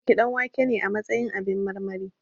Na ɗauki ɗanwake ne a matsayin abin marmari